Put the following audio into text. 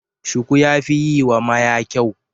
Shuku ya fi yiwa maya kyau.